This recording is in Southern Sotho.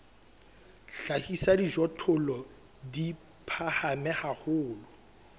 hlahisa dijothollo di phahame haholo